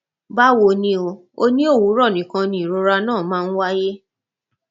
báwo ni o o ní òwúrọ nìkan ni ìrora náà máa ń wáyé